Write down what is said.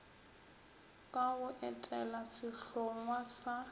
ka go etela sehlongwa sa